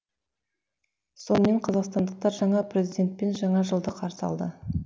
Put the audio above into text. сонымен қазақстандықтар жаңа президентпен жаңа жылды қарсы алады